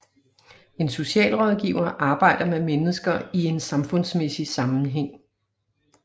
En socialrådgiver arbejder med mennesker i en samfundsmæssig sammenhæng